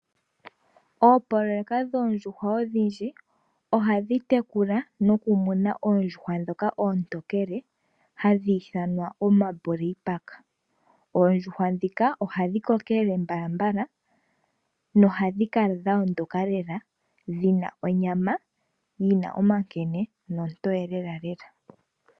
Oopoloyeka dho ondjuhwa odhindji, oha dhi yekula no ku muna oondjuhwa ndhoka oontokele, ha dhi ithanwa omabuleipaka. Oondjuhwa ndhika oha dhi kokelele mbalambala, no ha dhi kala dha ondoka lela shina onyama, yina omankene nontoye lelalela.